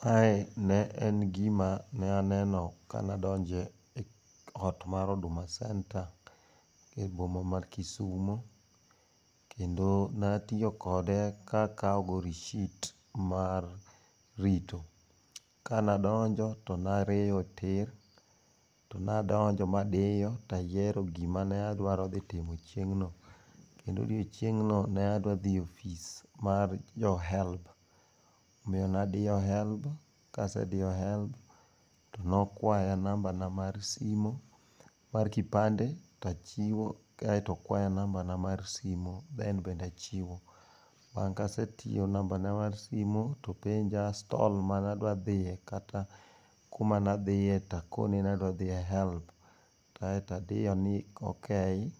Kae ne en gima na neno kanadonjo eot mar Huduma Centre e boma mar Kisumo, kendo natiyo kode ka akawogo risit mar rito. Kanadonjo to narieyo tir, to nadonjo madiyo ayiero gima ne adwaro dhi timo chieng'no. Kendo chieng'no ne adwa dhi e ofis mar jo HELB. Omiyo nadiyo HELB, kasediyo HELB tonokwaya nambana mar simu mar kipande tachiwo, ka aye to okwaya nambana mar simu, 5cs] then bende achiwo. Bang' kasechiwo nambana mar simu, topenja stall mane adwa dhiye, kata kuma nadhiye takone ni HELB, kae to adiyo ni ok